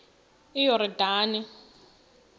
iyordane